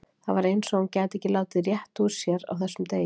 Það var eins og hún gæti ekkert látið rétt út úr sér á þessum degi.